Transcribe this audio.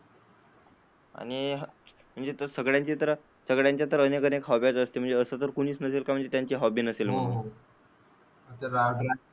आणि सगळ्यांच्या तर अनेक अनेक हॉब्ब्या असतात, असं तर कोणीच नसेल कि त्यांची हॉबी नसेल. आमच्या गावातील,